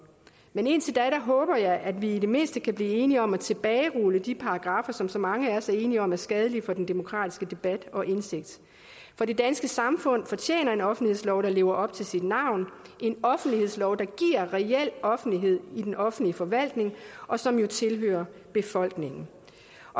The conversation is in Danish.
men indtil da håber jeg at vi i det mindste kan blive enige om at tilbagerulle de paragraffer som så mange af os er enige om er skadelige for den demokratiske debat og indsigt for det danske samfund fortjener en offentlighedslov der lever op til sit navn en offentlighedslov der giver reel offentlighed i den offentlige forvaltning og som jo tilhører befolkningen